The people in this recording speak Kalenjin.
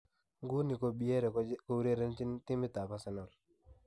Nguni ko Pierre ko urerenjin timit ab Arsenal.